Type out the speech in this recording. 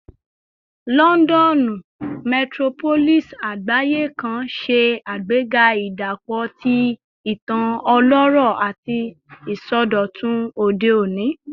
Lọndọnu, metropolis agbaye kan, ṣe agbega idapọ ti itan ọlọrọ ati isọdọtun ode oni